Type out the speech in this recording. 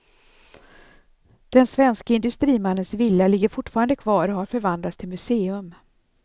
Den svenske industrimannens villa ligger fortfarande kvar och har förvandlats till museum.